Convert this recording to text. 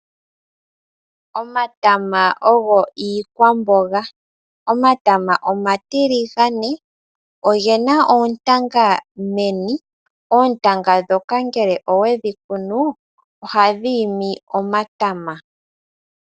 Omatama ogo iikwamboga, omatama omatiligane ogena oontanga meni, oontanga ndhoka ngele owedhi kunu ohadhi imi omatama.